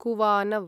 कुवानव्